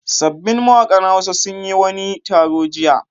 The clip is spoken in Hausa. Sabbin mawaƙan Hausa sun yi wani taro jiya.